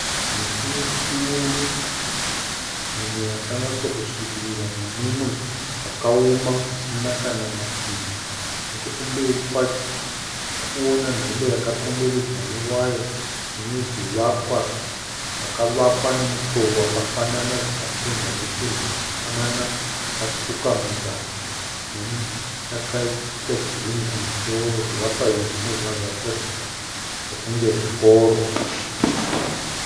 Miti mikuru mimwe yakanyatsokusvibira nemumwe wakaoma usina kana mashizha. Nechekumberi kwacho tirikuona nzvimbo yakakomberedzwa newaya, ine zvivakwa zvakavakwa nemutoo wakafanana zvikapendwa nependi yakafanana yakatsvuka muzasi neyakaita kirimu kumusoro. Zvivakwa izvi zvinobva zvatiratidza sekunge zvikoro.